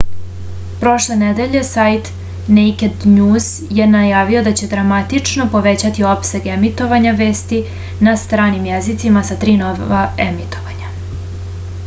prošle nedelje sajt nejked njuz je najavio da će dramatično povećati opseg emitovanja vesti na stranim jezicima sa tri nova emitovanja